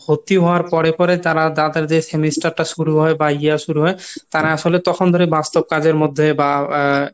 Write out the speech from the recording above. ভর্তি হওয়ার পরে পরে তারা তাদের যে semester টা শুরু হয় বা year শুরু হয় তারা আসলে তখন ধরে বাস্তব কাজের মধ্যে বা